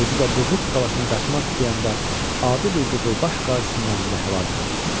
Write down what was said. Özü də Buğurt qalasına qaçmaq istəyəndə adi bir qızılbaş qazisinin əlində həlak oldu.